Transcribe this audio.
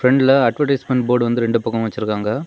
பிரண்ட்ல advertisement board வந்து ரெண்டு பக்கமும் வெச்சிருக்காங்க.